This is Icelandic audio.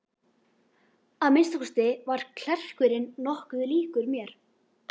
Að minnsta kosti var klerkurinn nokkuð líkur mér.